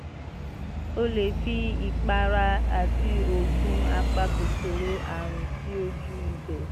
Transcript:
o lè fi ìpara àti oògùn apakòkòrò àrùn sí ojú ibẹ̀